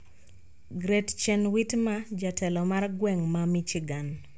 Gretchen Whitmer, Jatelo mar gweng` ma Michigan